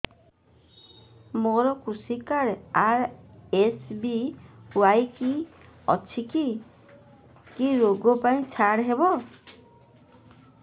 ମୋର କୃଷି card RSBY ଅଛି କି କି ଋଗ ପାଇଁ ଛାଡ଼ ହବ